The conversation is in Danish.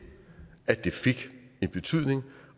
at det fik en betydning